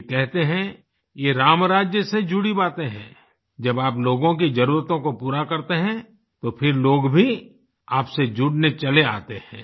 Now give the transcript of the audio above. ये कहते हैं ये रामराज्य से जुड़ी बातें हैं जब आप लोगों की जरूरतों को पूरा करते है तो फिर लोग भी आपसे जुड़ने चले आते हैं